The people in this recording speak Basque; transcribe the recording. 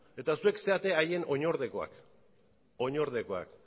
eta zuek zarete haien oinordekoak